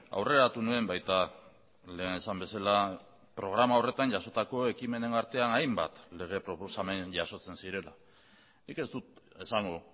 aurreratu nuen baita lehen esan bezala programa horretan jasotako ekimenen artean hainbat lege proposamen jasotzen zirela nik ez dut esango